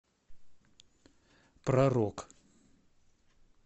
про рок